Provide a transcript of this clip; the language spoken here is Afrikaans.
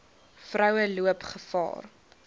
vroue loop gevaar